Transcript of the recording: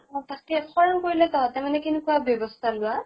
অ তাকে খৰাং পৰিলে তঁহতে মানে কেনেকুৱা ব্যৱস্থা লোৱা?